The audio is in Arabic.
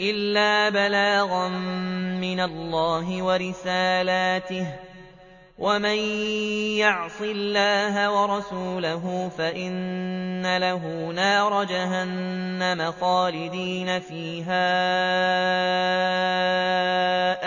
إِلَّا بَلَاغًا مِّنَ اللَّهِ وَرِسَالَاتِهِ ۚ وَمَن يَعْصِ اللَّهَ وَرَسُولَهُ فَإِنَّ لَهُ نَارَ جَهَنَّمَ خَالِدِينَ فِيهَا